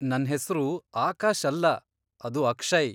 ನನ್ ಹೆಸ್ರು ಆಕಾಶ್ ಅಲ್ಲ, ಅದು ಅಕ್ಷಯ್.